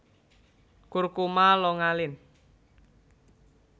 Curcuma longa Linn